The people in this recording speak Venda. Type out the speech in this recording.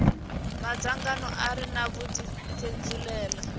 madzangano a re na vhudifhinduleli